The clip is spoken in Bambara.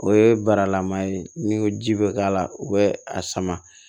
O ye baralama ye n'i ko ji bɛ k'a la u bɛ a sama